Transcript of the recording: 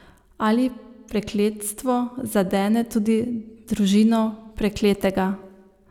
Ali prekletstvo zadene tudi družino prekletega?